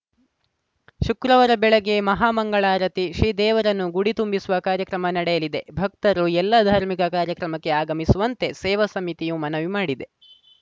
ಶುಕ್ರವಾರ ಬೆಳಗ್ಗೆ ಮಹಾಮಂಗಳಾರತಿ ಶ್ರೀ ದೇವರನ್ನು ಗುಡಿ ತುಂಬಿಸುವ ಕಾರ್ಯಕ್ರಮ ನಡೆಯಲಿದೆ ಭಕ್ತರು ಎಲ್ಲ ಧಾರ್ಮಿಕ ಕಾರ್ಯಕ್ರಮಕ್ಕೆ ಆಗಮಿಸುವಂತೆ ಸೇವಾ ಸಮಿತಿಯು ಮನವಿ ಮಾಡಿದೆ